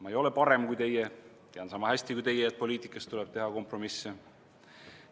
Ma ei ole parem kui teie, tean sama hästi kui teie, et poliitikas tuleb teha kompromisse.